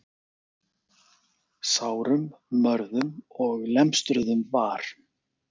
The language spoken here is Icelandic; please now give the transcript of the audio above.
Sárum, mörðum og lemstruðum var